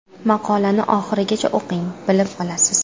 Maqolani oxirigacha o‘qing, bilib olasiz.